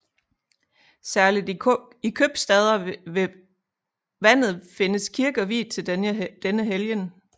Særligt i købstader ved vandet findes kirker viet til denne helgen